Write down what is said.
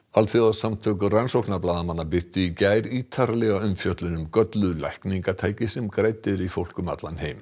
alþjóðasamtök rannsóknarblaðamanna birtu í gær ítarlega umfjöllun um gölluð lækningatæki sem grædd eru í fólk um allan heim